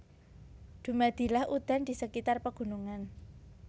Dumadilah udan di sekitar pegunungan